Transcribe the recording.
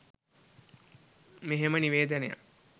මෙහෙම නිවේදනයක්